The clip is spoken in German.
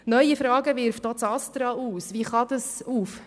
Neue Fragen wirft auch das Bundesamt für Strassen (Astra) auf.